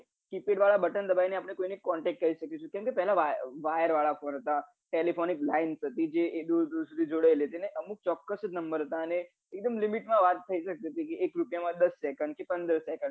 keypad વાળા button દબાઈ ને આપડે કોઈ ને contact કરી શકીએ છીએ કેમ કે પેલા wire વાલા phone હતા telephone lines હતી ને અમુક ચોક્કસ જ number હતા અને એકદમ limit મા વાત થઇ જતી હતી એક રૂપિયા માં દસ second થી પંદર second